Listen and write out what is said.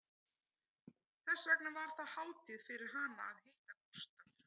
Þess vegna var það hátíð fyrir hana að hitta Gústaf